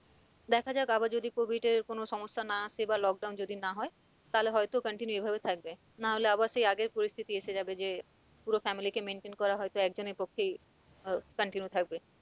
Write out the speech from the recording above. দেখা যাক আবার যদি covid এর কোন সমস্যা না আসে বা lock down যদি না হয় তাহলে হয় তো continue এভাবে থাকবে না হলে আবার সেই আগের পরিস্থিতি এসে যাবে যে পুরো family কে maintain করা হয়তো একজনের পক্ষেই আহ continue থাকবে।